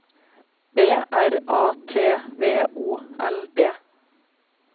B R A T V O L D